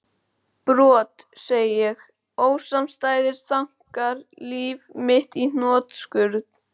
Brot, segi ég, ósamstæðir þankar líf mitt í hnotskurn?